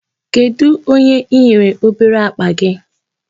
Kedụ onye i nyere obere akpa gị?